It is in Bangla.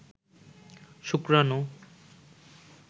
শুক্রাণু